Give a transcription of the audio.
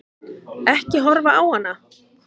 Ekki horfa á hana!